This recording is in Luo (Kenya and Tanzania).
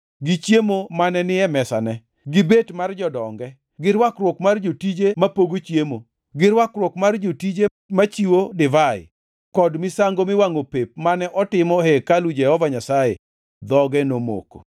gi chiemo mane ni e mesane, gi bet mar jodonge, gi rwakruok mar jotije mapogo chiemo, gi rwakruok mar jotije machiwo divai kod misango miwangʼo pep mane otimo e hekalu Jehova Nyasaye, dhoge nomoko.